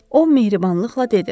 O mehribanlıqla dedi.